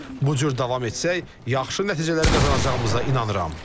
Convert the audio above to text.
Bu cür davam etsək, yaxşı nəticələr qazanacağımıza inanırıq.